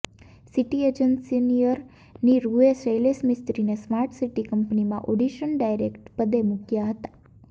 city એન્જિનિયરની રૃએ શૈલેષ મિસ્ત્રીને સ્માર્ટ સિટી કંપનીમાં એડિશન ડાયરેક્ટર પદે મૂકાયા હતાં